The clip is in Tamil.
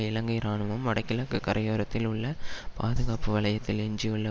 இலங்கை இராணுவம் வடகிழக்கு கரையோரத்தில் உள்ள பாதுகாப்பு வலயத்தில் எஞ்சியுள்ள